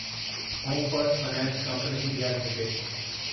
home first finance company India limited